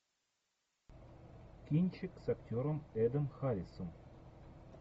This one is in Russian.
кинчик с актером эдом харрисом